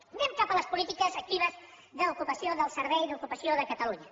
anem cap a les polítiques actives d’ocupació del servei d’ocupació de catalunya